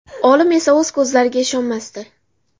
Olim esa o‘z ko‘zlariga ishonmasdi.